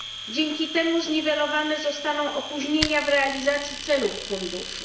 Dzięki temu zniwelowane zostaną opóźnienia w realizacji celów funduszu.